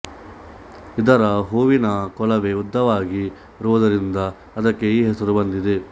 ಇದರ ಹೂವಿನ ಕೊಳವೆ ಉದ್ದವಾಗಿರುವುದರಿಂದ ಇದಕ್ಕೆ ಈ ಹೆಸರು ಬಂದಿದೆ